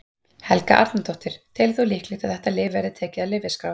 Helga Arnardóttir: Telur þú líklegt að þetta lyf verði tekið af lyfjaskrá?